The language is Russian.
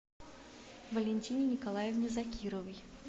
валентине николаевне закировой